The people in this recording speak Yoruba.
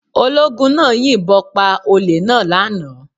Ológun náà yìn bon pa olè náà lánàá